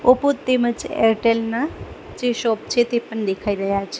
Oppo તેમજ એરટેલ ના જે શોપ છે તે પણ દેખાય રહ્યા છ--